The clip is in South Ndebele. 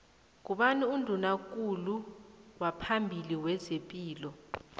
ngubani unduna kulu waphambili wezepilo